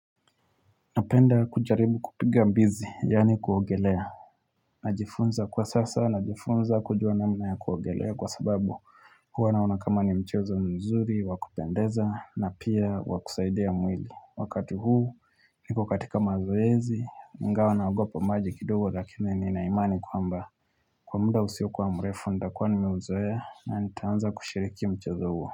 Napenda kujaribu kupiga mbizi, yani kuogelea. Najifunza kwa sasa, najifunza kujua namna ya kuogelea kwa sababu huwa naona kama ni mchezo nzuri wakupendeza, na pia wakusaidia mwili. Wakati huu, niko katika mazoezi, ingawa naogopo maji kidogo lakini nina imani kwamba. Kwa muda usiokuwa mrefu, ndakuwa nimeuzoe, na nitaanza kushiriki mchezo huo.